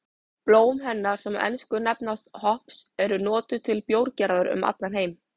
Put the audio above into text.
Blóm hennar sem á ensku nefnast hops eru notuð til bjórgerðar um allan heim.